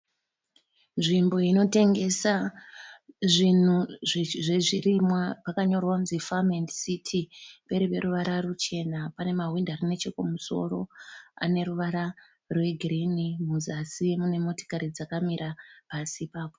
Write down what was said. Nzvimbo inotengesa zvinhu zvezvirimwa. Pakanyorwa kuti Farm and City pari peruvara ruchena. Pane mahwindo ari nechekumusoro ane ruvara rwegirini. Muzasi mune motikari dzakamira pasi ipapo.